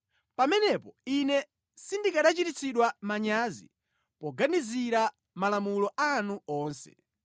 Pamenepo ine sindikanachititsidwa manyazi, poganizira malamulo anu onse.